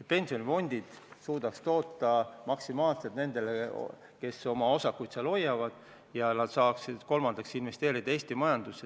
et pensionifondid suudaks nendele, kes oma osakuid seal hoiavad, maksimaalselt toota; ja kolmandaks, et nad saaksid investeerida Eesti majandusse.